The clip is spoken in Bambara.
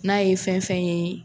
N'a ye fɛn fɛn ye